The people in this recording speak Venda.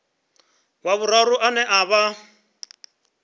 wa vhuraru ane a vha